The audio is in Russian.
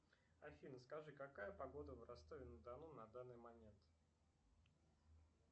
афина скажи какая погода в ростове на дону на данный момент